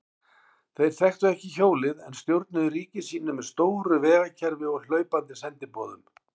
Þeir þekktu ekki hjólið en stjórnuðu ríki sínu með stóru vegakerfi og hlaupandi sendiboðum.